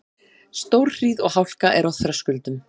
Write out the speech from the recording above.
Stórhríð og hálka er á Þröskuldum